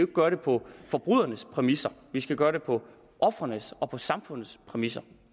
gøre det på forbrydernes præmisser vi skal gøre det på ofrenes og på samfundets præmisser